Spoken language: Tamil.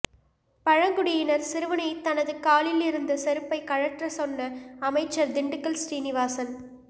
பழங்குடியினர் சிறுவனை தனது காலில் இருந்த செருப்பை கழற்ற சொன்ன அமைச்சர் திண்டுக்கல் சீனிவாசன்